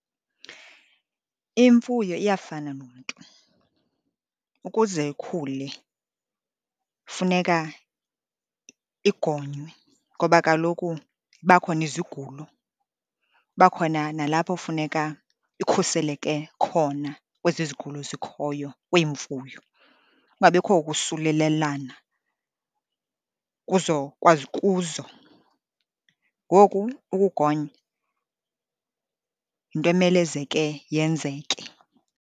Imfuyo iyafana nomntu. Ukuze ikhule funeka igonywe ngoba kaloku ziba khona izigulo, kuba khona nalapho funeka ikhuseleke khona kwezi zigulo zikhoyo kweemfuyo, kungabikho ukusulelelana, kuzo kwakuzo. Ngoku ukugonya yinto emelezeke yenzeke.